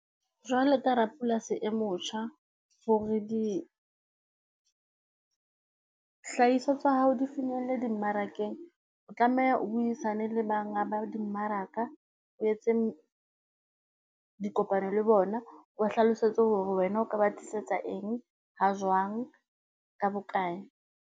Jwalo ka rapolasi e motjha, hore dihlahiswa tsa hao di finyelle di mmarakeng, o tlameha o buisane le banga ba dimmaraka, o etse dikopano le bona, o ba hlalosetse hore wena o ka ba tlisetsa eng ha jwang, ka bokae?